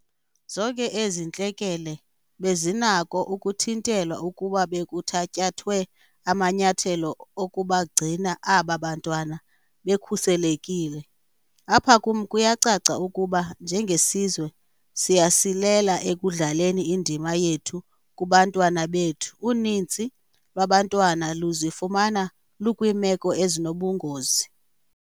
Zonke ezi ntlekele bezinako ukuthintelwa ukuba bekuthatyathwe amanyathelo okubagcina aba bantwana bekhuselekile. Apha kum kuyacaca ukuba, njengesizwe, siyasilela ekudlaleni indima yethu kubantwana bethu. Uninzi lwabantwana luzifumana lukwiimeko ezinobungozi.